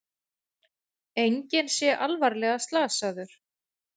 Enginn sé alvarlega slasaður